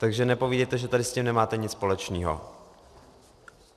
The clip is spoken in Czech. Takže nepovídejte, že tady s tím nemáte nic společného.